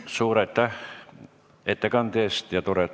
Suur aitäh ettekande eest!